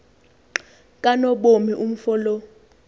kanobomi umfo lo